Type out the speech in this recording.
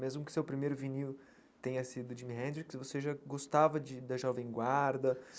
Mesmo que seu primeiro vinil tenha sido o Jimi Hendrix, você já gostava de da Jovem Guarda.